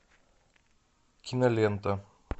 кинолента